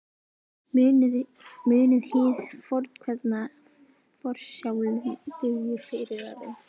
Munið hið fornkveðna: Forsjálum dugir fyrirvarinn.